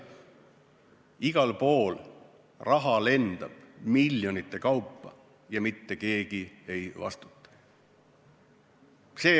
Igal pool lendab raha miljonite kaupa ja mitte keegi ei vastuta.